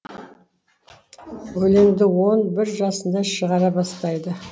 өлеңді он бір жасында шығара бастайды